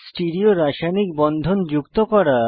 stereo রাসায়নিক বন্ধন যুক্ত করা